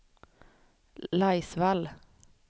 Laisvall